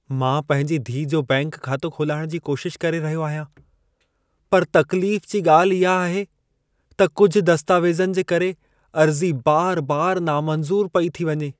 मां पंहिंजी धीअ जो बैंक खातो खोलाइण जी कोशिश करे रहियो आहियां, पर तक़्लीफ जी ॻाल्हि इहा आहे, त कुझु दस्तावेज़नि जे करे अर्ज़ी बार-बार नामंज़ूर पई थी वञे।